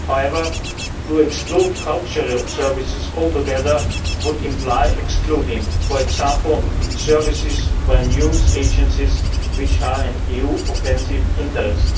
However, to exclude cultural services altogether would imply excluding, for example, services by news agencies, which are an EU offensive interest.